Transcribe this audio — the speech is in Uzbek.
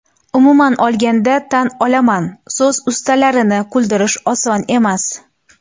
Umuman olganda, tan olaman, so‘z ustalarini kuldirish oson emas.